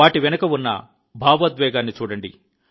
దాని వెనుక ఉన్న భావోద్వేగాన్ని చూడండి